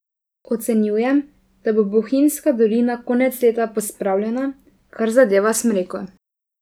Ocenjujem, da bo bohinjska dolina konec leta pospravljena, kar zadeva smreko.